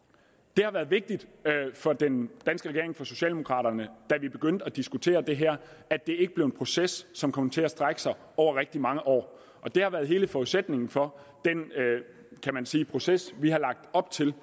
det har været vigtigt for den danske regering og for socialdemokraterne da vi begyndte at diskutere det her at det ikke blev en proces som kom til at strække sig over rigtig mange år og det har været hele forudsætningen for den proces vi har lagt op til